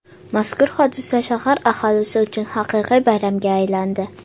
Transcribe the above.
Mazkur hodisa shahar aholisi uchun haqiqiy bayramga aylandi.